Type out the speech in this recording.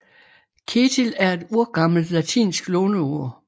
Ketill er et urgammelt latinsk låneord